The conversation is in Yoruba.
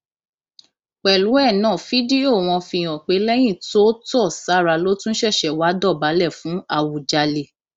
pẹlú ẹ náà fídíò wọn fi hàn pé lẹyìn tó tó sára ló tún ṣẹṣẹ wáá dọbálẹ fún àwùjalè